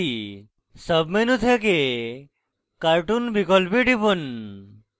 sub menu থেকে cartoon বিকল্পে টিপুন